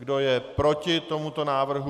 Kdo je proti tomuto návrhu?